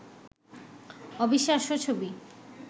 অবিশ্বাস্য ছবি